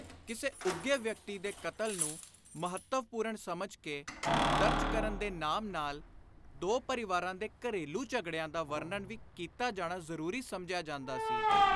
ਕਿਸੇ ਉੱਘੇ ਵਿਅਕਤੀ ਦੇ ਕਤਲ ਨੂੰ ਮਹੱਤਵਪੁਰਣ ਸਮਝ ਕੇ ਦਰਜ ਕਰਨ ਦੇ ਨਾਮ ਨਾਲ ਦੋ ਪਰਿਵਾਰਾਂ ਦੇ ਘਰੇਲੂ ਝਗੜਿਆਂ ਦਾ ਵਰਣਨ ਵੀ ਕੀਤਾ ਜਾਣਾ ਜ਼ਰੂਰੀ ਸਮਝਿਆ ਜਾਂਦਾ ਸੀ।